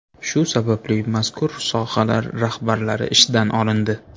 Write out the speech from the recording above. Shu sababli mazkur sohalar rahbarlari ishdan olindi.